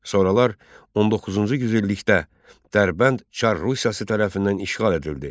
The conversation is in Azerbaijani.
Sonralar 19-cu yüzillikdə Dərbənd Çar Rusiyası tərəfindən işğal edildi.